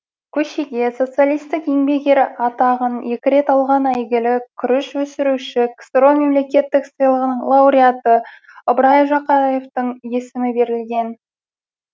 көшеге социалистік еңбек ері атағын екі рет алған әйгілі күріш өсірүші ксро мемлекеттік сыйлығының лауреаты ыбырай жақаевтың есімі берілген